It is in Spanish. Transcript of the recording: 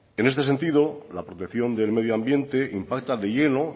en este sentido la protección del medio ambiente impacta de lleno